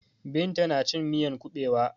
Binta na cin miyan kuɓewa.